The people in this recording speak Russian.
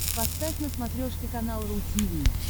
поставь на смотрешке канал ру ти ви